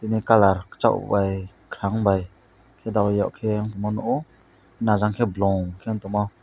bini colour kuchokbai khwrangbai khe dalukyak khe mo nukwo najangkhe blongkhe tongmo.